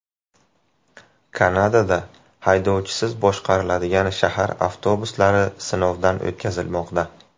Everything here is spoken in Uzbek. Kanadada haydovchisiz boshqariladigan shahar avtobuslari sinovdan o‘tkazilmoqda .